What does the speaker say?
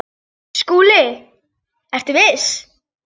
SKÚLI: Ertu viss?